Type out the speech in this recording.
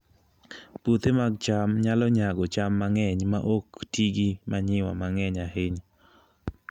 Puothe mag cham nyalo nyago cham mang'eny maok ti gi manyiwa mang'eny ahinya